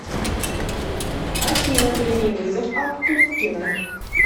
афина прими вызов от пупкина